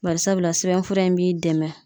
Barisabula sɛbɛnfura in b'i dɛmɛ